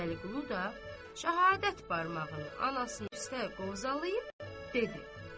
Bəliqulu da şəhadət barmağını anasının üstə qovzayıb dedi: